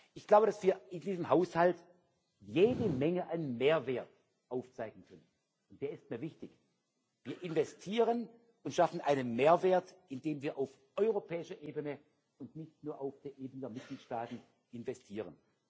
Ich glaube, dass wir in diesem Haushalt jede Menge an Mehrwert aufzeigen können der ist mir wichtig. Wir investieren und schaffen einen Mehrwert, indem wir auf europäischer Ebene und nicht nur auf der Ebene der Mitgliedstaaten investieren.